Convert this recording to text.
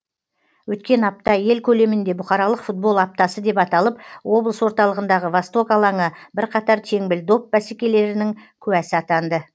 өткен апта ел көлемінде бұқаралық футбол аптасы деп аталып облыс орталығындағы восток алаңы бірқатар теңбіл доп бәсекелерінің куәсі атанды